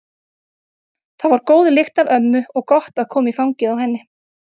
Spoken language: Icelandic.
Það var góð lykt af ömmu og gott að koma í fangið á henni.